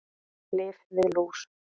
Lyf við lús